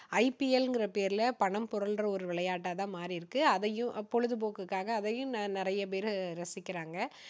IPL ங்கற பேர்ல பணம் புரல்ற ஒரு விளையாட்டா தான் மாறி இருக்கு. அதையும் பொழுதுபோக்குக்காக அதையும் நிறைய பேர் ரசிக்குறாங்க.